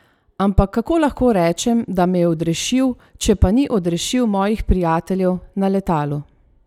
Ampak kako lahko rečem, da me je odrešil, če pa ni odrešil mojih prijateljev na letalu?